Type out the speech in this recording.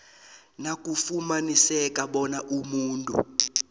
nakufumaniseka bona umuntu